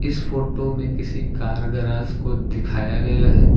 इस फोटो में किसी कार गराज को दिखाया गया है।